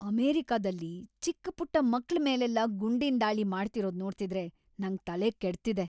ಅಮೆರಿಕದಲ್ಲಿ ಚಿಕ್ಕಪುಟ್ಟ ಮಕ್ಳ ಮೇಲೆಲ್ಲ ಗುಂಡಿನ್ ದಾಳಿ ಮಾಡ್ತಿರೋದ್‌ ನೋಡ್ತಿದ್ರೆ ನಂಗ್ ತಲೆಕೆಡ್ತಿದೆ.